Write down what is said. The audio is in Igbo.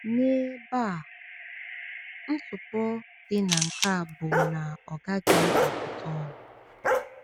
N’ebe a, ntụpọ dị na nke a bụ na ọ gaghị agụta ọnụ.